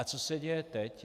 A co se děje teď?